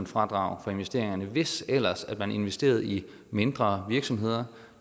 fradrag for investeringerne hvis ellers man investerede i mindre virksomheder